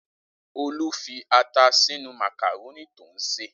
Olú fi ata sínú màkàrónì tó ń sè!